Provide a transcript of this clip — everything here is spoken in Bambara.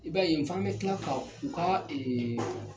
I ba ye f'an be kila ka u ka ee